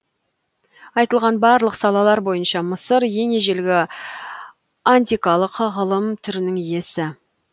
айтылған барлық салалар бойынша мысыр ең ежелгі антикалық ғылым түрінің иесі